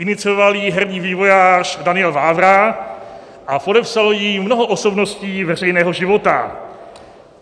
Inicioval ji hrdý vývojář Daniel Vávra a podepsalo ji mnoho osobností veřejného života.